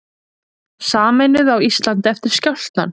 Sameinuð á Íslandi eftir skjálftann